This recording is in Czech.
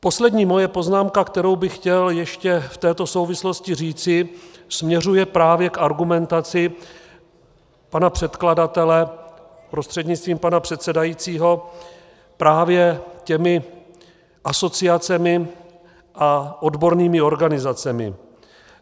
Poslední moje poznámka, kterou bych chtěl ještě v této souvislosti říci, směřuje právě k argumentaci pana předkladatele prostřednictvím pana předsedajícího právě těmi asociacemi a odbornými organizacemi.